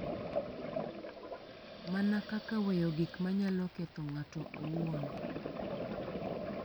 Mana kaka weyo gik ma nyalo ketho ng’ato owuon .